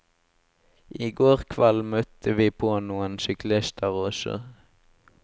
I går kveld møtte vi på noen syklister også.